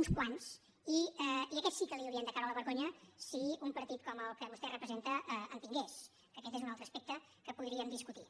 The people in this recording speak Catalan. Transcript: uns quants i aquests sí que la hi haurien de fer caure de vergonya si un partit com el que vostè representa en tingués que aquest és un altre aspecte que podríem discutir